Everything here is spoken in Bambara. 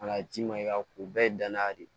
A ka ci ma i ka o bɛɛ ye danya de ye